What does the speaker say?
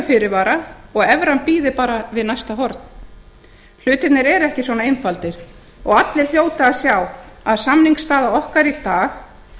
fyrirvara og evran bíði bara við næsta horn hlutirnir eru ekki svona einfaldir og allir hljóta að sjá að samningsstaða okkar í dag